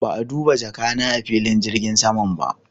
Ba'a duba jaka na a'filin jirgin saman ba.